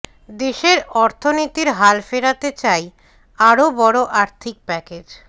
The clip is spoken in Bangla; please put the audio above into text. দেশের অর্থনীতির হাল ফেরাতে চাই আরও বড় আর্থিক প্যাকেজ